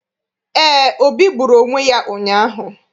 Eé, Obi gburu onwe ya ụnyaahụ.